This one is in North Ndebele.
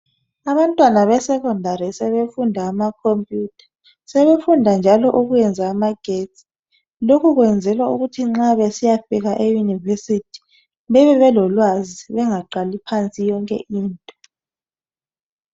Abantwana besekhondari sebefunda amakhompiyutha. Sebefunda njalo ukuyenza amagetsi. Lokho kwenzelwa ukuthi nxa besiyafika eYunivesi bebe belolwazi, bengaqali phansi yonke into.